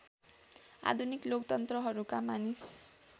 आधुनिक लोकतन्त्रहरूका मानिस